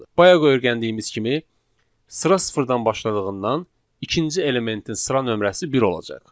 Bayaq öyrəndiyimiz kimi, sıra sıfırdan başladığından ikinci elementin sıra nömrəsi bir olacaq.